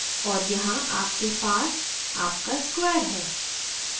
और यहाँ आपके पास आपका square है